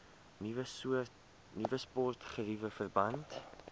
nuwe sportgeriewe verband